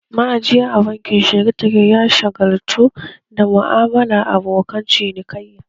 Ma'ajiya a bankin heritage ya shagaltu da mu'amalar abokan cinikayya